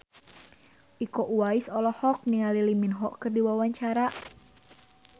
Iko Uwais olohok ningali Lee Min Ho keur diwawancara